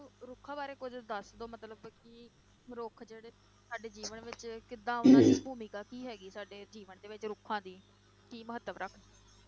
ਰੁੱਖਾਂ ਬਾਰੇ ਕੁੱਝ ਦੱਸ ਦਓ ਮਤਲਬ ਕਿ ਰੁੱਖ ਜਿਹੜੇ ਸਾਡੇ ਜੀਵਨ ਵਿੱਚ ਕਿੱਦਾਂ ਮਤਲਬ ਭੂਮਿਕਾ ਕੀ ਹੈਗੀ ਸਾਡੇ ਜੀਵਨ ਦੇ ਵਿੱਚ ਰੁੱਖਾਂ ਦੀ, ਕੀ ਮਹੱਤਵ ਰੱਖਦੇ।